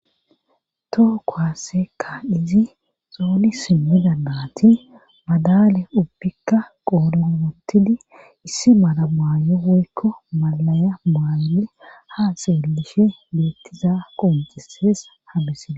Toho kuwaase kaa7izi xooni simmidi naati madaale ubbikka qoodhen wottidi issi mala maayo woykko mallaya maayidi haa xeellishe beettiza qonccissees hamisile.